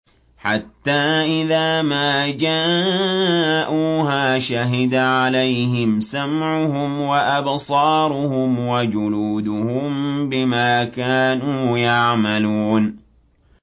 حَتَّىٰ إِذَا مَا جَاءُوهَا شَهِدَ عَلَيْهِمْ سَمْعُهُمْ وَأَبْصَارُهُمْ وَجُلُودُهُم بِمَا كَانُوا يَعْمَلُونَ